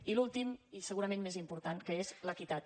i l’últim i segurament més important que és l’equitat